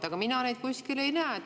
Aga mina seda kuskil ei näe.